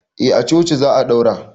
A a coci za a daura